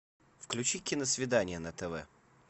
включи киносвидание на тв